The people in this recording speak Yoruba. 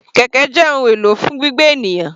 Kẹ̀kẹ́ jẹ́ ohun èlò fún gbígbé ènìyàn.